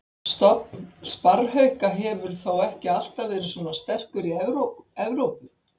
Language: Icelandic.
Stofn sparrhauka hefur þó ekki alltaf verið svona sterkur í Evrópu.